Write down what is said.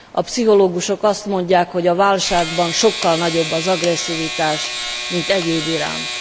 A pszichológusok azt mondják, hogy a válságban sokkal nagyobb az agresszivitás, mint egyébiránt.